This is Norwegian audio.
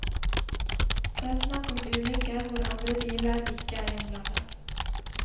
Det er snakk om ulykker hvor andre biler ikke er innblandet.